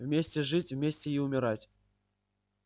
вместе жить вместе и умирать